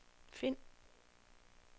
find